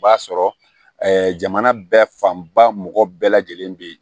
O b'a sɔrɔ jamana bɛɛ fanba mɔgɔ bɛɛ lajɛlen bɛ